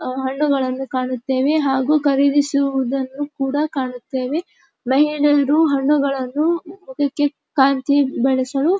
ಹಣ್ಣುಗಳನ್ನು ಕಾಣುತ್ತೇವೆ ಹಾಗು ಖರೀದಿಸುವುದನ್ನು ಕೂಡ ಕಾಣುತ್ತೇವೆ. ಮಹಿಳೆಯರು ಹಣ್ಣುಗಳನ್ನು ಹುಡುಕಿ ಕಾಂತಿ ಬೆಳೆಸಲು--